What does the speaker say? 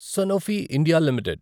Sanofi India limited